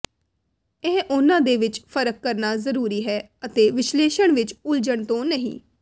ਇਹ ਉਨ੍ਹਾਂ ਦੇ ਵਿੱਚ ਫਰਕ ਕਰਨਾ ਜ਼ਰੂਰੀ ਹੈ ਅਤੇ ਵਿਸ਼ਲੇਸ਼ਣ ਵਿੱਚ ਉਲਝਣ ਤੋਂ ਨਹੀਂ